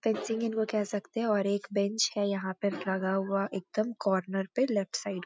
fencing इनको कह सकते हैं और एक बेंच है यहाँ पे लगा हुआ एकदम कॉर्नर पे लेफ्ट साइड में --